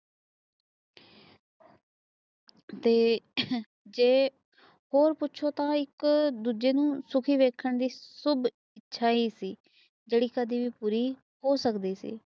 ਤੇ ਜੇ ਹੋਰ ਪੁਛੋ ਇਕ ਦੂਜੇ ਨੂੰ ਸ਼ੁਕੀ ਰਹਕੰਨ ਵਾਲੀ ਸੁੱਬ ਇੱਛਾ ਹੀ ਸੀ ਜੜ੍ਹੀ ਕਦੇ ਵੀ ਪੂਰੀ ਹੋ ਸਕਦੀ ਸੀ